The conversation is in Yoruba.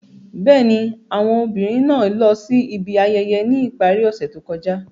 Bẹ́ẹ̀ni, awọn obinrin naa lọ si ibi ayẹyẹ ni ipari ose to kọja.